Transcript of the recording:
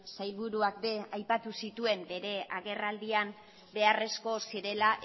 sailburuak ere aipatu zituen bere agerraldian beharrezko zirela